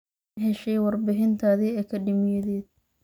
Ma heshay warbixintaadii akadeemiyadeed?